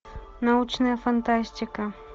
научная фантастика